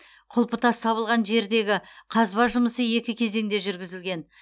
құлпытас табылған жердегі қазба жұмысы екі кезеңде жүргізілген